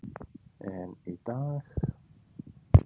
En í dag.